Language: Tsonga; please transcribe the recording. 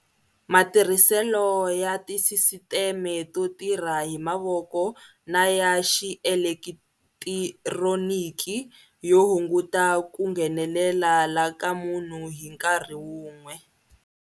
Matirhiselo ya tisisiteme to tirha hi mavoko na ya xielekithironiki yo hunguta ku nghenele la ka munhu hi nkarhi wun'we